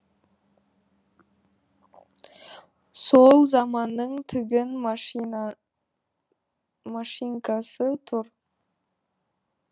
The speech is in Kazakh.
сол заманның тігін машинкасы тұр